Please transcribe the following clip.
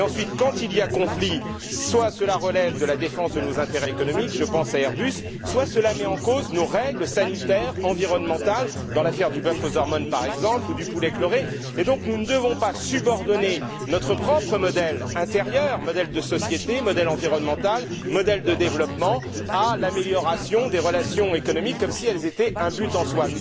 Ensuite, lorsqu'il il y a conflit, soit cela relève de la défense de nos intérêts économiques je pense à Airbus soit cela met en cause nos règles sanitaires, environnementales dans l'affaire du bœuf aux hormones par exemple, ou du poulet chloré et nous ne devons donc pas subordonner notre propre modèle intérieur, modèle de société, modèle environnemental, modèle de développement, à l'amélioration des relations économiques, comme si elles étaient un but en soi.